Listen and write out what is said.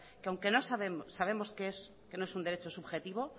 que aunque sabemos que no es un derecho subjetivo